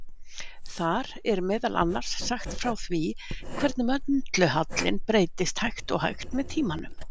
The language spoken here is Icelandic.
Þar er meðal annars sagt frá því hvernig möndulhallinn breytist hægt og hægt með tímanum.